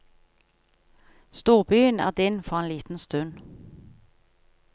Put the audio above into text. Storbyen er din for en liten stund.